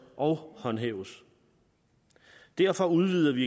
og håndhæves derfor udvider vi